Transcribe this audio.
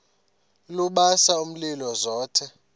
lubasa umlilo zothe